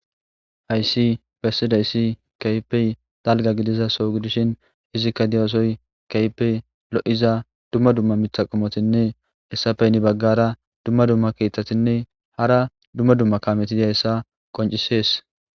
hayssi bessida issi kaypey dalga gidiza sow gidishin izikka diyoosoy kaypey lo7iza dumma dumma mitha qomotinne hessapeyni baggara dumma dumma kieththatinne hara dumma dumma kametid hayssa qoncisees